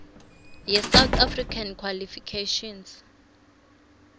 yesouth african qualifications